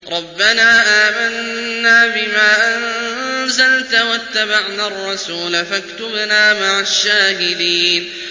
رَبَّنَا آمَنَّا بِمَا أَنزَلْتَ وَاتَّبَعْنَا الرَّسُولَ فَاكْتُبْنَا مَعَ الشَّاهِدِينَ